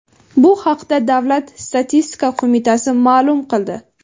Bu haqda davlat statistika qo‘mitasi ma’lum qildi.